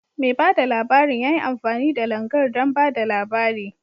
Mai bada labarin ya yi amfani da Langar don ba da labari.